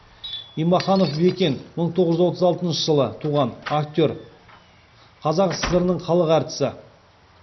имаханов бекен мың тоғыз жүз отыз алтыншы жылы туған актер қазақ сср інің халық әртісі